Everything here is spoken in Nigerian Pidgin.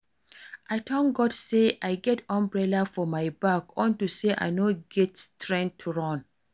I thank God say I get umbrella for my bag unto say I no get strength to run